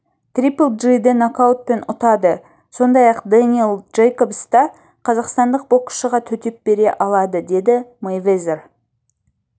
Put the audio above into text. трипл джиді нокаутпен ұтады сондай-ақ дэниел джейкобс та қазақстандық боксшыға төтеп бере алады деді мэйвезер